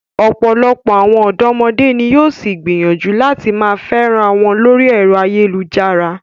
Ọ̀pọ̀lọpọ̀ àwọn ọ̀dọ́mọdé ni yóò ṣì gbìyànjú láti máa fẹ́ra wọn lórí ẹ̀rọ ayélujára.